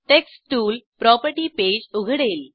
text tool property page उघडेल